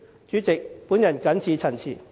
主席，我謹此陳辭。